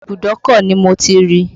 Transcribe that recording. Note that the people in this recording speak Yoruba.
Ibùdó ọkọ̀ ni Mo ti rí i